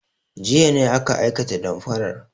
Jiya ne aka aikata damfarar.